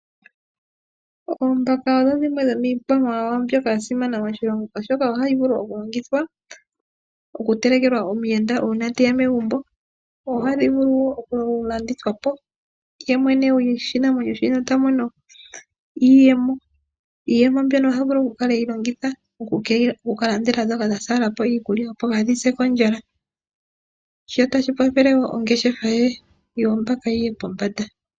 Oombaka odho dhimwe dho miikwamawawa mbyoka ya simana moshilongo, oshoka ohadhi vulu okutelekelwa omuyenda uuna te ya megumbo. Ohadhi vulu wo okulandithwa po ye mwene goshinamwenyo shika ta mono iiyemo. Iiyemo mbyoka oha vulu okuyi longitha oku ka landela ndhoka dha hupa po iikulya, opo kaa dhi se kondjala. Otashi kwathele wo ongeshefa yoombaka yi ye pombanda.